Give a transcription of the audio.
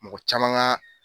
Mɔgɔ caman ka